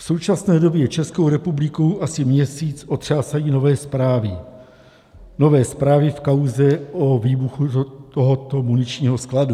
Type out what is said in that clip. V současné době Českou republikou asi měsíc otřásají nové zprávy, nové zprávy v kauze o výbuchu tohoto muničního skladu.